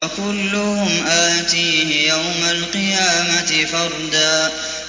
وَكُلُّهُمْ آتِيهِ يَوْمَ الْقِيَامَةِ فَرْدًا